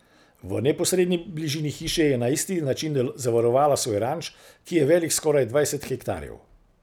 V neposredni bližini hiše je na isti način zavarovala svoj ranč, ki je velik skoraj dvajset hektarjev.